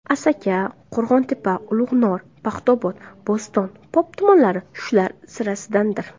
Asaka, Qo‘rg‘ontepa, Ulug‘nor, Paxtaobod, Bo‘ston, Pop tumanlari shular sirasidandir.